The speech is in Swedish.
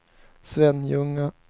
Svenljunga